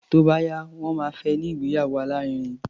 Tó bá yá, wọ́n máa fẹ́ ní ìgbéyàwó alárinrin.